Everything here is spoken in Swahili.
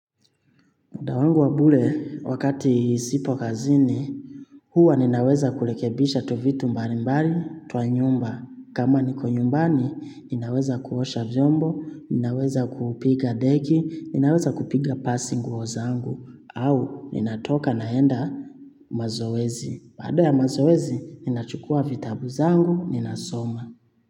Muda wangu wa bure wakati sipo kazini huwa ninaweza kurekebisha tu vitu mbali mbali twa nyumba. Kama niko nyumbani, ninaweza kuosha vyombo, ninaweza kupiga deki, ninaweza kupiga pasi nguo zangu au ninatoka naenda mazoezi. Baada ya mazoezi, ninachukua vitabu zangu, ninasoma.